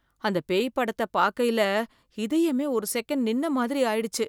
அந்த பேய் படத்த பாக்கைல இதயமே ஒரு செகண்ட் நின்ன மாதிரி ஆயிடுச்சு.